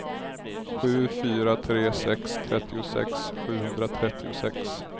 sju fyra tre sex trettiosex sjuhundratrettiosex